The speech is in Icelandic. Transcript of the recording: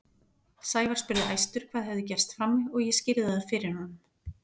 Sævar spurði æstur hvað hefði gerst frammi og ég skýrði það fyrir honum.